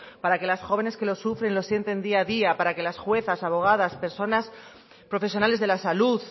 para que las jóvenes que lo sufren y lo sienten día a día para que las juezas abogadas personas profesionales de la salud